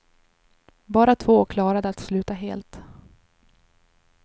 Bara två klarade att sluta helt.